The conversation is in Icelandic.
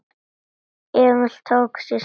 Emil tók sér stöðu.